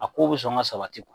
A ko bɛ sɔn ka sabati .